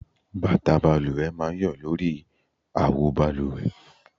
Bàtà balùwẹ̀ máa ń yọ lórí àwo balùwẹ̀